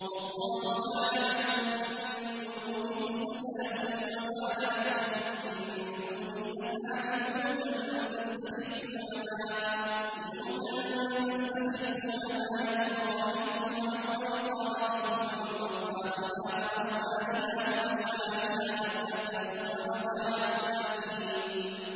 وَاللَّهُ جَعَلَ لَكُم مِّن بُيُوتِكُمْ سَكَنًا وَجَعَلَ لَكُم مِّن جُلُودِ الْأَنْعَامِ بُيُوتًا تَسْتَخِفُّونَهَا يَوْمَ ظَعْنِكُمْ وَيَوْمَ إِقَامَتِكُمْ ۙ وَمِنْ أَصْوَافِهَا وَأَوْبَارِهَا وَأَشْعَارِهَا أَثَاثًا وَمَتَاعًا إِلَىٰ حِينٍ